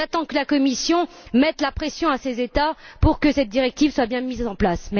J'attends que la Commission mette la pression sur ces États pour que cette directive soit bien mise en place.